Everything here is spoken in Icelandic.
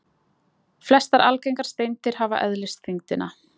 Flestar algengar steindir hafa eðlisþyngdina